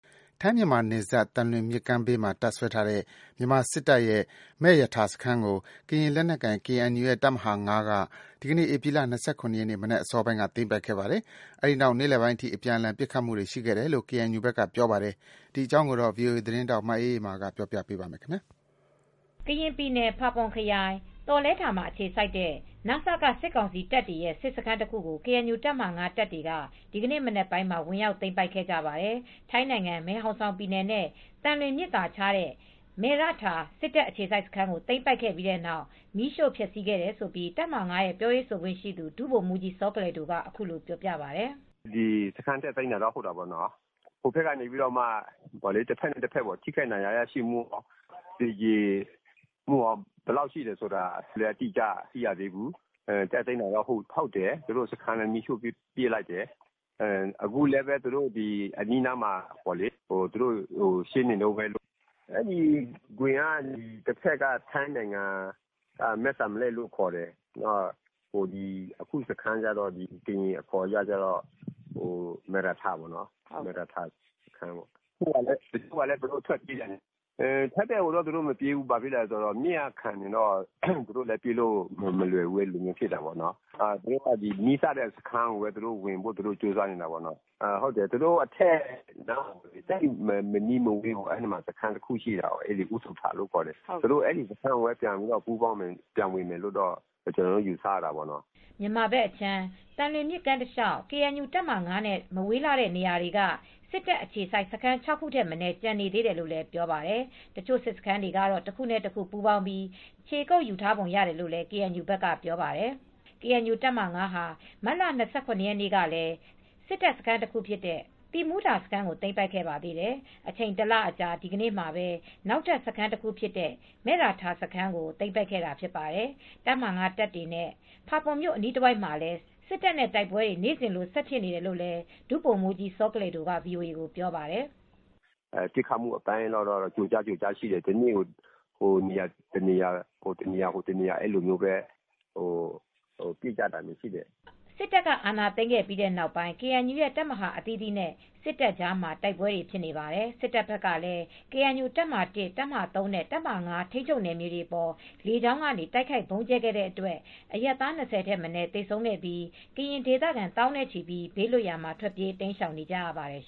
ထိုင်း မြန်မာနယ်စပ် သံလွင်မြစ်ကမ်းဘေးမှာ တပ်စွဲထားတဲ့ မြန်မာစစ်တပ်ရဲ့ မယ့်ရထာစခန်းကို ကရင်လက်နက်ကိုင် KNU ရဲ့ တပ်မဟာ ၅ က ဒီနေ့ ဧပြီလ ၂၇ ရက် မနက်အစောပိုင်းက သိမ်းပိုက်ခဲ့ပါတယ်။ အဲဒီနောက် နေ့လယ်ပိုင်းအထိ အပြန်အလှန် ပစ်ခတ်မှုတွေ ရှိခဲ့တယ်လို့ အပစ်အခတ်တွေရှိ ကေအန်ယူဘက်ကပြောပါတယ်။ ဒီသတင်းကို ဗွီအိုအေ သတင်းထောက်မအေးအေးမာက တင်ဆက်ပေးပါမယ်။ ကရင်ပြည်နယ် ဖာပွန်ခရိုင် သောလဲထာမှာ အခြေစိုက်ထားတဲ့ န.စ.က စစ်ကောင်စီတပ်တွေရဲ့ စစ်စခန်းတခုကို ကေအန်ယူတပ်ဟာ ၅ တပ်တွေက ဒီနေ့ မနက်ပိုင်းက ဝင်ရောက်သိမ်းပိုက်ခဲ့ကြပါတယ်။ ထိုင်းနိုင်ငံ မယ်ဟောင်ဆောင်ပြည်နယ်နဲ့ သံလွင်မြစ်သာခြားတဲ့ မယ်ရထာ စစ်တပ်အခြေစိုက်စခန်းကို သိမ်းပိုက်ခဲ့ပြီးနောက် မီးရှို့ဖျက်စီးခဲ့တယ်လို့ တပ်မဟာ ၅ ပြောရေးဆိုခွင့်ရှိသူ ဒုဗိုလ်မူးကြီး စောကလယ်ဒိုက အခုလိုပြောပြပါတယ်။ "တက်သိမ်းတာတော့ ဟုတ်တာပေါ့နော်။ တဘက်နဲ့ တဘက်ဟိုဘက်က ထိခိုက်ဒဏ်ရာရရှိမှု သေကြေမှု ဘယ်လောက်ထိရှိလဲဆိုတာ မသိရသေးဘူူး။ တက်သိမ်းတာ ဟုတ်တယ်။ စခန်းလည်း မီးရှိှု့ပစ်လိုက်တယ်။ အခုလည်း အနီးအနားမှာ ရှင်းနေတုန်းပဲ။ အဲဒီဂွင်က တဘက်က မဲ့စံလက်ကိုလို့ခေါ်တယ်။ တဘက်ကတော့ ကရင်အခေါ်ကတော့ မယ့်ရထာစခန်းလို့ခေါ်တယ်။ ထိုင်းဘက်ကိုတော့ သူတို့မပြေးဘူး။ မြစ်ကခံနေလို့ ပြေးဖို့အတွက် မလွယ်ဘူးဖြစ်နေတယ်။ သူတို့က နီးစပ်ရာစခန်းကိုပဲ ဝင်ဖို့ ကြိုးစားနေတယ်။ သူတို့အထက်မနီးမဝေးမှာ စခန်းတခု ရှိတာပေါ့နော်။ အူးသူထလို့ ခေါ်တယ်။ အဲဒီစခန်းကို ဝင်မယ်လို့ ကျနော်တို့က ယူဆရတာပေါ့နော်။" မြန်မာဘက်အခြမ်း သံလွင်မြစ်ကမ်းတလေ ျှာက် ကေအန်ယူတပ်မဟာ ၅ နဲ့ မဝေးလှတဲ့နေရာတွေမှ စစ်တပ်အခြေစိုက် စခန်း ၆ ခုထက် မနည်းကျန်သေးတယ်လို့လည်း ပြောပါတယ်။ တချို့ စစ်စခန်းတွေ တခုနဲ့တခု ပူးပေါင်းပြီး ခြေကုပ်ယူထားပုံရတယ်လို့ KNU ဘက်ကပြောပါတယ်။ ကေအန်ယူတပ်မဟာ ၅ ဟာ မတ်လ ၂၇ ရက်နေ့ကလည်း စစ်တပ်စခန်းတခုဖြစ်တဲ့ သီးမူးထာစခန်းကို သိမ်းပိုက်ခဲ့ပါသေးတယ်။ အချိန် ၁ လအကြာ ဒီနေ့မှာ နောက်ထပ် စခန်းတခုဖြစ်တဲ့ မယ်ရထာစခန်းကို သိမ်းပိုက်တာဖြစ်ပါတယ်။ တပ်မဟာ ၅ တပ်တွေနဲ့ ဖာပွန်မြို့ အနီးတဝိုက်မှာလည်း စစ်တပ်နဲ့ တိုက်ပွဲတွေ နေ့စဉ်လို ဆက်ဖြစ်နေတယ်လို့ ဒုဗိုလ်မူးကြီး စောကလယ်ဒိုက ဗွီအိုအေကို ပြောပါတယ်။ "ပစ်ခတ်မှုအပိုင်းကတော့ ကျိုကြား၊ ကျိုကြားရှိတယ်။ တနေ့ကို ဟိုတနေရာ ဒီနေရာတော့ ပစ်ကြတာရှိတယ်။" စစ်တပ်က အာဏာသိမ်းခဲ့ပြီးနောက်ပိုင်း KNU ရဲ့ တပ်မဟာ အသီသီးနဲ့ စစ်တပ်ကြားမှာ တိုက်ပွဲတွေ ဖြစ်နေပါတယ်။ စစ်တပ်ဘက်ကလည်း ကေအန်ယူတပ်မဟာ ၁၊ တပ်မဟာ ၃ နဲ့ တပ်မဟာ ၅ ထိန်းချုပ်နယ်မြေတွေအပေါ် လေကြောင်းကနေ တိုက်ခိုက် ဗုံးကြဲခဲ့တဲ့အတွက် အရပ်သား ၂၀ ထက်မနည်း သေဆုံးခဲ့ပြီး ကရင်ဒေသခံ သောင်းနဲ့ချီ ဘေးလွတ်ရာမှာ ထွက်ပြေးတိမ်းရှောင်နေကြရပါတယ်